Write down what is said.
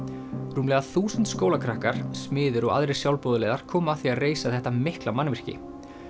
rúmlega þúsund skólakrakkar smiðir og aðrir sjálfboðaliðar komu að því að reisa þetta mikla mannvirki